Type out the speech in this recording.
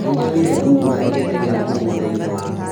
Nĩnyonire thungura igĩteng'era mũgũnda-inĩ waku